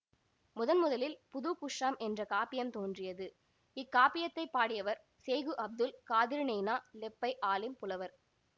முதன் முதலில் புதுகுஷ்ஷாம் என்ற காப்பியம் தோன்றியது இக்காப்பியத்தைப் பாடியவர் செய்கு அப்துல் காதிறு நெய்னா லெப்பை ஆலிம் புலவர்